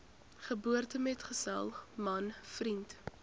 geboortemetgesel man vriend